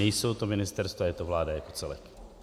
Nejsou to ministerstva, je to vláda jako celek.